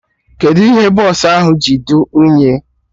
Kedụ ihe bọsụ ahụ ji dị unyi?